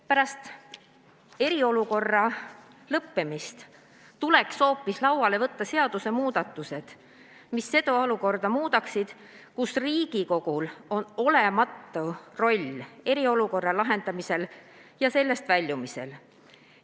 Pärast eriolukorra lõppemist tuleks hoopis lauale võtta seadusmuudatused, mis muudaksid seda olukorda, kus Riigikogul on olematu roll eriolukorra lahendamisel ja sellest väljumisel.